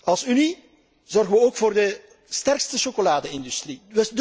Als Unie zorgen wij ook voor de sterkste chocolade industrie.